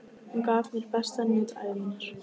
Hún gaf mér besta nudd ævi minnar.